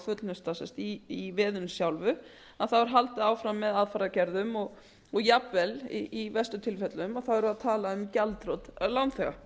er að fullnusta í veðinu sjálfu þá er haldið áfram með aðfaragerðum og jafnvel í verstu tilfellum erum við að atla um gjaldþrot lánþega